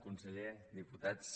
conseller diputats